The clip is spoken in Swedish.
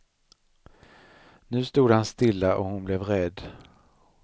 Nu stod han stilla, och hon blev rädd.